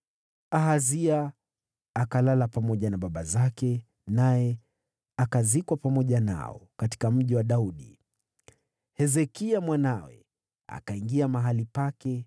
Ahazi akalala na baba zake, naye akazikwa pamoja nao katika Mji wa Daudi. Naye Hezekia mwanawe akawa mfalme baada yake.